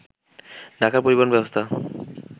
ঢাকার পরিবহন ব্যবস্থা